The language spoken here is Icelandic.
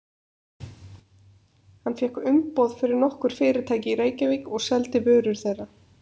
Hann fékk umboð fyrir nokkur fyrirtæki í Reykjavík og seldi vörur þeirra.